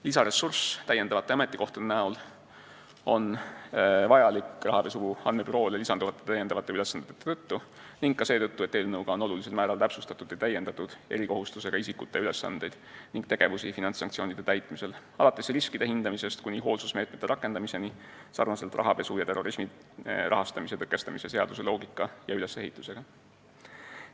Lisaressurss täiendavate ametikohtade näol on vajalik rahapesu andmebüroole lisanduvate ülesannete tõttu ning ka seetõttu, et eelnõuga on olulisel määral täpsustatud ja täiendatud erikohustustega isikute ülesandeid ning tegevusi finantssanktsioonide täitmisel, alates riskide hindamisest kuni hoolsusmeetmete rakendamiseni sarnaselt rahapesu ja terrorismi rahastamise tõkestamise seaduse loogika ja ülesehitusega.